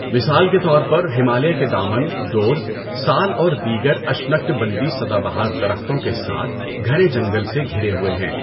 مثال کے طور پر، ہمالیہ کے دامن، ڈورز، سال اور دیگر اشنکٹبندی سدا بہار درختوں کے ساتھ گھنے جنگل سے گھرے ہوئے ہیں۔